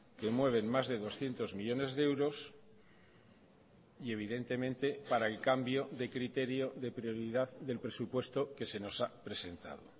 que mueven más de doscientos millónes de euros y evidentemente para el cambio de criterio de prioridad del presupuesto que se nos ha presentado